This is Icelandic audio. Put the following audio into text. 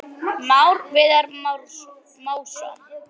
Már Viðar Másson.